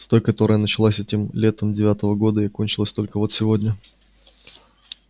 с той которая началась этим летом девятого года и кончилась только вот сегодня